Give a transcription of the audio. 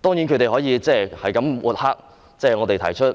當然，他們可以不斷抹黑提出將